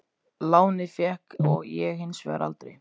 Lánið fékk ég hins vegar aldrei.